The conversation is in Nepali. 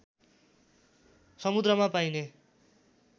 समुद्रमा पाइने